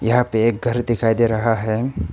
यहां पे एक घर दिखाई दे रहा है।